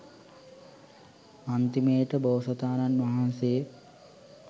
අන්තිමේට බෝසතාණන් වහන්සේ